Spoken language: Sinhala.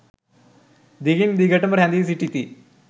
දිගින් දිගට ම රැඳී සිටිති.